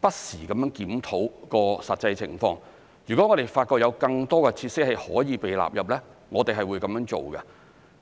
不時檢討實際情況，如果發現有更多的設施可以被納入，我們是會這樣做的。